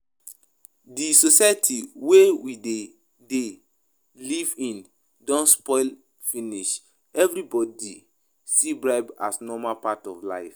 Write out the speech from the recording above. Di society wey we dey dey live in don spoil finish, everybody see bribe as normal part of life